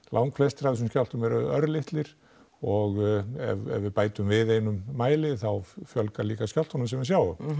langflestir af þessum skjálftum eru örlitlir og ef við bætum við einum mæli þá fjölgar líka skjálftunum sem við sjáum